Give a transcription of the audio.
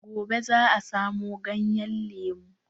Gobe za a samo ganyen lemu.